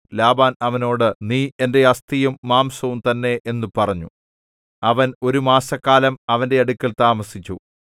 Laban അവനോട് നീ എന്റെ അസ്ഥിയും മാംസവും തന്നെ എന്നു പറഞ്ഞു അവൻ ഒരു മാസക്കാലം അവന്റെ അടുക്കൽ താമസിച്ചു